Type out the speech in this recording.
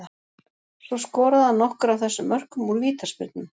Svo skoraði hann nokkur af þessum mörkum úr vítaspyrnum.